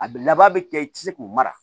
A bɛ laban bɛ kɛ i tɛ se k'u mara